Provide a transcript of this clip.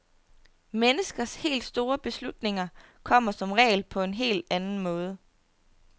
Menneskers helt store beslutninger kommer som regel på en helt anden måde.